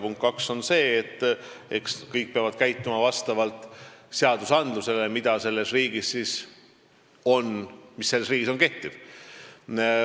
Punkt kaks, eks kõik peavad käituma vastavalt seadustele, mis selles riigis kehtivad.